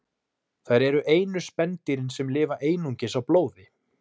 Þær eru einu spendýrin sem lifa einungis á blóði.